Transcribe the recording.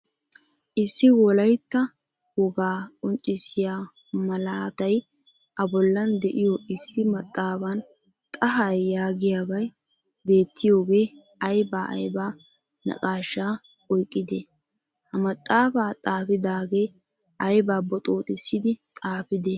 Issi wolaytta wogaa qonccisiyaa malatay a bollan deiyo issi maxaafan xahay yaagiyabay beetiyoge ayba ayba naaqasha oyqqide? Ha maaxaafa xaafidage ayba boxooxissidi xaafide?